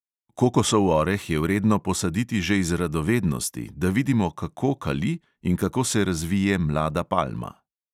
Kokosov oreh je vredno posaditi že iz radovednosti, da vidimo, kako kali in kako se razvije mlada palma.